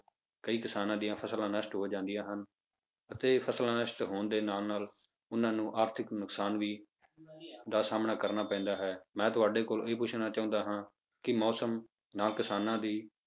ਕਈ ਕਿਸਾਨਾਂ ਦੀਆਂ ਫਸਲਾਂ ਨਸ਼ਟ ਹੋ ਜਾਂਦੀਆਂ ਹਨ ਅਤੇ ਫਸਲਾਂ ਨਸ਼ਟ ਹੋਣ ਦੇ ਨਾਲ ਨਾਲ ਉਹਨਾਂ ਨੂੰ ਆਰਥਕ ਨੁਕਸਾਨ ਵੀ ਦਾ ਸਾਹਮਣ ਕਰਨਾ ਪੈਂਦਾ ਹੈ, ਮੈਂ ਤੁਹਾਡੇ ਕੋਲ ਇਹ ਪੁੱਛਣਾ ਚਾਹੁੰਦਾ ਹਾਂ ਕਿ ਮੌਸਮ ਨਾਲ ਕਿਸਾਨਾਂ ਦੀ